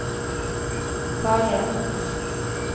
farlige